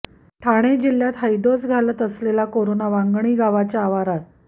ठाणे जिल्ह्यात हैदोस घालत असलेला कोरोना वांगणी गावाच्या आवारात